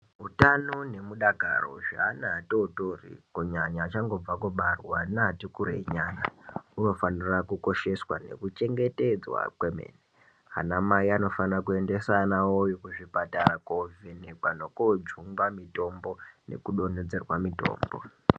Utano nemudakaro wezvana zvitotori kunyanya achangobva kubarwa kusvika kune ati kurei nyana zvinofanira kukosheswa nekuchengetedzwa kwemene. Ana Mai anofanire kuendesa ana awo kuzvipatara kuvhenekwa nekujungwa mitombo nekudonhedzerwa mutombo.